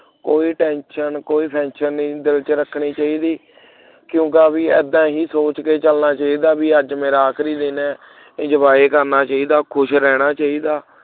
ਕੋਈ tension ਕੋਈ pension ਨਹੀਂ ਦਿਲ ਦੇ ਵਿੱਚ ਰੱਖਣੀ ਚਾਹੀਦੀ ਕਿਉਂਕਿ ਆਹ ਵੀ ਏਦਾਂ ਹੀ ਸੋਚ ਕੇ ਚੱਲਣਾ ਚਾਹੀਦਾ ਹੈ ਬਈ ਅਜ ਮੇਰਾ ਆਖਰੀ ਦਿਨ ਹੈ enjoy ਕਰਨਾ ਚਾਹੀਦਾ ਖੁਸ਼ ਰਹਿਣਾ ਚਾਹੀਦਾ